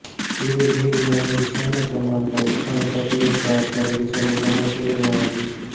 ಇದು ನೀರಿನ ಒಂದು ಸಣ್ಣ ಪ್ರಮಾಣದ ಉತ್ತಮ ಚಾಕೋಲೇಟ್ ಬಾರ್ ಕರಗಿಸಲು ಬಹಳ ಸುಲಭವಾಗಿ